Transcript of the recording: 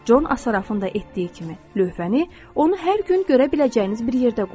Con Asaraffın da etdiyi kimi lövhəni onu hər gün görə biləcəyiniz bir yerdə qoyun.